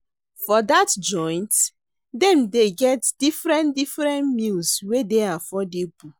For dat joint, dem dey get different different meals wey dey affordable.